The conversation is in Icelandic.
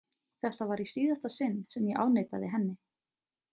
Þetta var í síðasta sinn sem ég afneitaði henni.